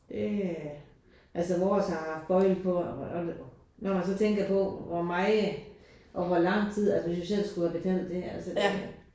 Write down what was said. Øh altså vores har haft bøjle på og når man så tænker på hvor meget og hvor lang tid altså hvis vi selv skulle have betalt det altså det